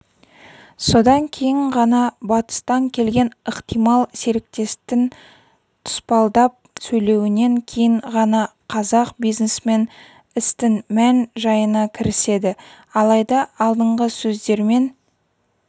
содан кейін ғана батыстан келген ықтимал серіктестің тұспалдап сөйлеуінен кейін ғана қазақ бизнесмен істің мән-жайына кіріседі алайда алдыңғы сөздермен